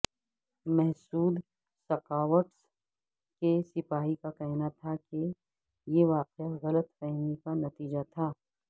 Mehsud scouts کے سپاہی کا کہنا تھا کہ یہ واقعہ غلط فہمی کا نتیجہ تھا